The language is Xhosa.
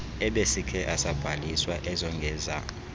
ebesikhe asabhaliswa ezongeza